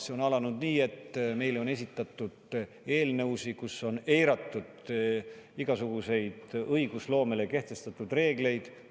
See on alanud nii, et meile on esitatud eelnõusid, kus on eiratud igasuguseid õigusloomele kehtestatud reegleid.